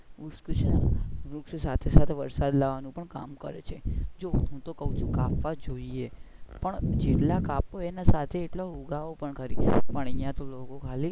જો હું તૂ કાઉ છું કાપવા જોઈએ પણ જેટલા કાપો એટલા એના સાથે એટલા ઉગાવો ખરી